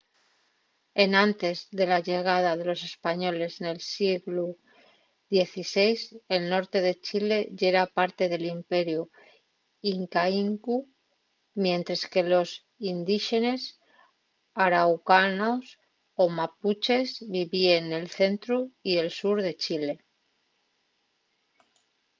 enantes de la llegada de los españoles nel sieglu xvi el norte de chile yera parte del imperiu incaicu mientres que los indíxenes araucanos o mapuches vivíen nel centru y el sur de chile